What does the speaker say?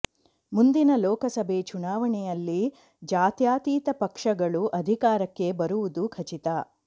ಮುಂದಿನ ಲೋಕಸಭೆ ಚುನಾವಣೆಯಲ್ಲಿ ಜಾತ್ಯತೀತ ಪಕ್ಷಗಳು ಅಧಿಕಾರಕ್ಕೆ ಬರುವುದು ಖಚಿತ